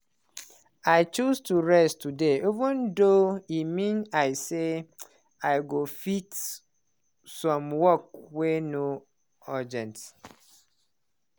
i choose to rest today even though e mean i say i go fit some work wey no urgent.